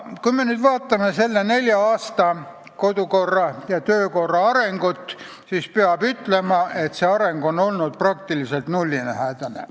Kui me vaatame kodukorra ja töökorra arengut käesoleva koosseisu nelja aasta jooksul, siis peab ütlema, et see areng on praktiliselt nullilähedane.